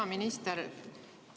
Hea minister!